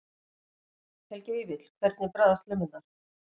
Helgi Vífill: Hvernig bragðast lummurnar?